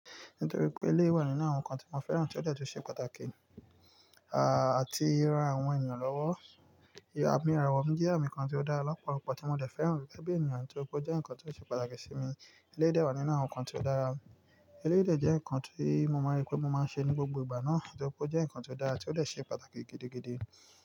Nítorí pé ilé wà nínú àwọn nǹkan tí mo fẹ́ràn tí ó dọ̀tí ṣe pàtàkì, àti ran àwọn ènìyàn lọ́wọ́. Àmì àràwọ̀ mi jẹ́ ǹkan tí ó dára lọ́pọ̀lọpọ̀ tí mo dẹ̀ fẹ́ràn rí, gẹ́gẹ́ bí ènìyàn tí opó jẹ́ ǹkan tí ó ṣe pàtàkì sí mi. Ilé de wà nínú àwọn nǹkan tí ó dára. Ilé dẹ̀ jẹ́ nǹkan tí mo mọ̀ pé mo máa ń ṣe ní gbogbo ìgbà náà, tí opó jẹ́ nǹkan tí ó dára tí ó dọ̀tí ṣe pàtàkì gidigidi.